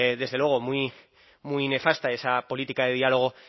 desde luego muy nefasta esa política de diálogo